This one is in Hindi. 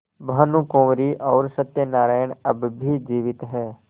भानुकुँवरि और सत्य नारायण अब भी जीवित हैं